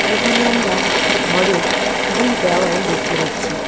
এখানে আমরা একটি ঘরের দুই দেওয়াল দেখতে পাচ্ছি।